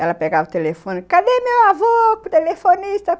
Ela pegava o telefone e dizia, cadê meu avô, telefonista?